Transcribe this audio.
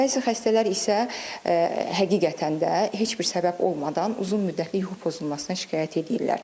Bəzi xəstələr isə həqiqətən də heç bir səbəb olmadan uzun müddətli yuxu pozulmasına şikayət eləyirlər.